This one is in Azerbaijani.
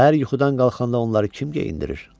Səhər yuxudan qalxanda onları kim geyindirir?